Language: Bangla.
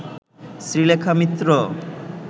শ্রীলেখা মিত্র